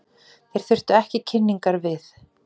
Þeir þurftu ekki kynningar við.